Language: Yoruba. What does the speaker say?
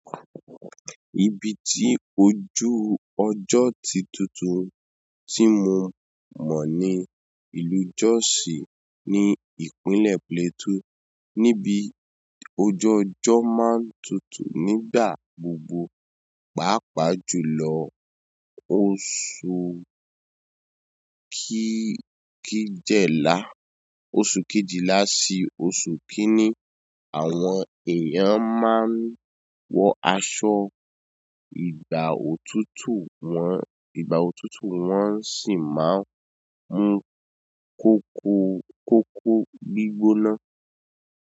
Ibi tí ojú ọjọ́ tí tuntun tí mo mọ̀ ní ìlú Jos ní ìpínlẹ̀ Plateau, níbi ojó ọjọ́ máa ń tutù nígbà gbogbo. Pàápàá jù lọ, oṣù kejìlá sí oṣù kíní, àwọn èèyàn máa ń wọ asọ, ìgbà òtútù wọn sì máa mo koko gbígbóná.